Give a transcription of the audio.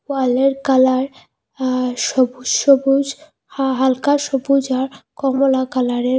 ওয়ালের কালার আ সবুজ সবুজ হা হালকা সবুজ আর কমলা কালারের।